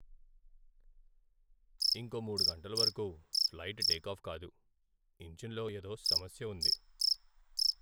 ఇంకో మూడు గంటల వరకు ఫ్లైట్ టేకాఫ్ కాదు. ఇంజన్లో ఏదో సమస్య ఉంది.